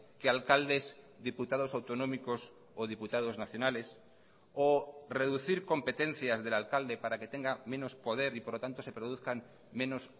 que alcaldes diputados autonómicos o diputados nacionales o reducir competencias del alcalde para que tenga menos poder y por lo tanto se produzcan menos